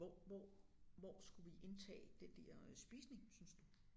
Hvor hvor hvor skulle vi indtage den der spisning synes du?